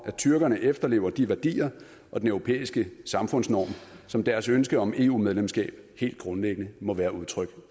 at tyrkerne efterlever de værdier og den europæiske samfundsnorm som deres ønske om eu medlemskab helt grundlæggende må være udtryk